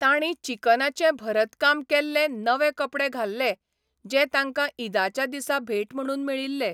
तांणी चिकनाचें भरतकाम केल्ले नवे कपडे घाल्ले जे तांकां ईदाच्या दिसा भेट म्हूण मेळिल्ले.